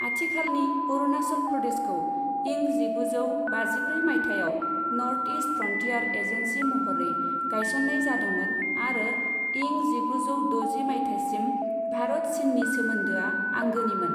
आथिखालनि अरुणाचल प्रदेशखौ इं जिगुजौ बाजिब्रै मायथाइयाव नर्थ ईस्ट फ्रन्टियार एजेन्सि महरै गायसननाय जादोंमोन आरो इं जिगुजौ द'जि मायथाइसिम भारत चिननि सोमोन्दोआ आंगोनिमोन।